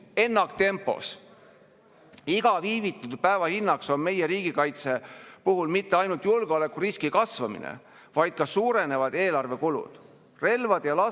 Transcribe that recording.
Ja see ei olnud Reformierakonna esindaja, kuigi siin seda väideti, see oli riigikaitsekomisjoni esindaja, kes tegi selle tegelikult maatasa, et ei ole aru saada, millist dokumenti muuta tahetakse ja kuidas saab sellist salajast asja siin arutada, kui laias laastus.